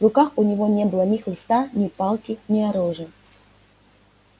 в руках у него не было ни хлыста ни палки ни оружия